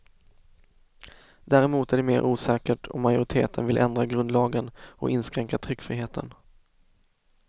Däremot är det mera osäkert om majoriteten vill ändra grundlagen och inskränka tryckfriheten.